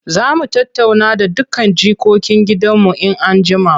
Za mu tattauna da dukkan jikokin gidanmu in an jima.